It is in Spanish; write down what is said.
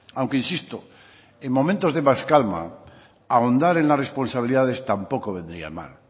aunque insisto en momentos de más calma ahondar en las responsabilidades tampoco vendría mal